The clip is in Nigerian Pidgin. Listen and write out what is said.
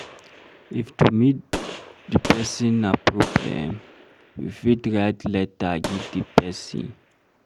If to meet di person na problem, you fit write letter give di person